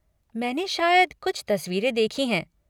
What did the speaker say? मैंने शायद कुछ तस्वीरें देखीं हैं।